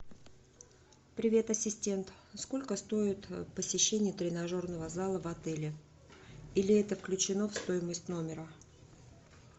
привет ассистент сколько стоит посещение тренажерного зала в отеле или это включено в стоимость номера